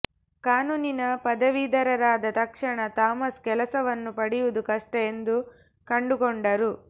ಕಾನೂನಿನ ಪದವೀಧರರಾದ ತಕ್ಷಣ ಥಾಮಸ್ ಕೆಲಸವನ್ನು ಪಡೆಯುವುದು ಕಷ್ಟ ಎಂದು ಕಂಡುಕೊಂಡರು